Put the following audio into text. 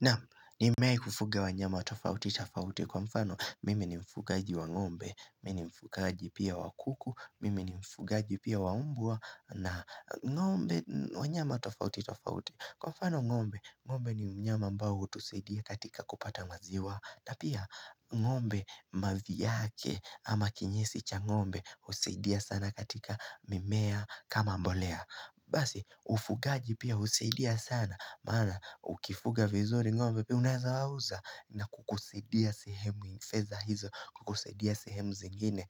Naam nimei kufuga wanyama tofauti tofauti kwa mfano mime ni mfugaaji wa ngombe, mime ni mfugaaji pia wa kuku, mime ni mfugaaji pia waumbua na ngombe wa nyama tofauti tofauti. Kwa mfano ngombe, ngombe ni mnyama ambao hutusedia katika kupata maziwa, tapia ngombe maviake ama kinyesi cha ngombe usidia sana katika mimea kama mbolea. Basi ufugaji pia usidia sana maana ukifuga vizuri ngombe pia unaza wauza na kukusidia sehemu nafeza hizo Kukusidia sehemu zingine